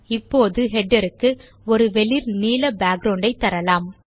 இப்போது ஹெடர் க்கு ஒரு வெளிர் நீல பேக்கிரவுண்ட் தரலாம்